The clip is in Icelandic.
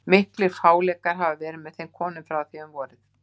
Miklir fáleikar hafa verið með þeim konum frá því um vorið.